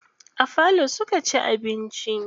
A falo suka ci abinci.